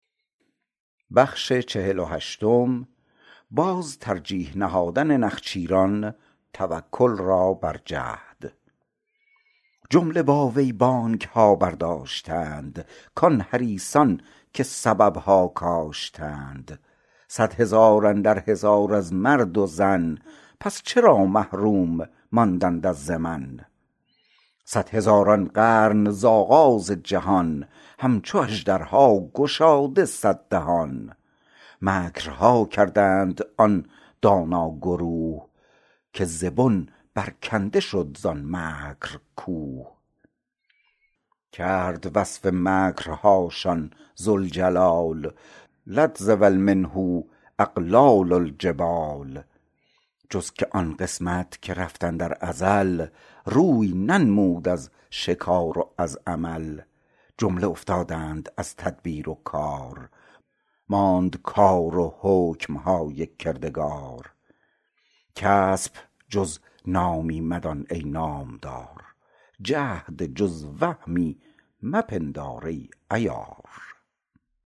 جمله با وی بانگ ها بر داشتند کان حریصان که سبب ها کاشتند صد هزار اندر هزار از مرد و زن پس چرا محروم ماندند از زمن صد هزار ان قرن ز آغاز جهان همچو اژدر ها گشاده صد دهان مکر ها کردند آن دانا گروه که ز بن بر کنده شد زان مکر کوه کرد وصف مکر هاشان ذوالجلال لتزول منۡه اقلال ٱلجبال جز که آن قسمت که رفت اندر ازل روی ننمود از شکار و از عمل جمله افتادند از تدبیر و کار ماند کار و حکم های کردگار کسپ جز نامی مدان ای نام دار جهد جز وهمی مپندار ای عیار